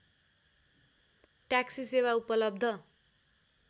taxi सेवा उपलब्ध